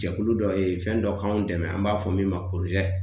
Jɛkulu dɔ ye fɛn dɔ k'anw dɛmɛ an b'a fɔ min ma ko